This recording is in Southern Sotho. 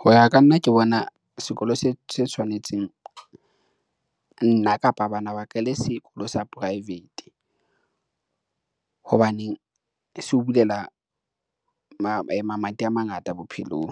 Ho ya ka nna ke bona sekolo se tshwanetseng nna kapa bana ba ka, le sekolo sa private. Hobaneng se o bulela mamati a mangata bophelong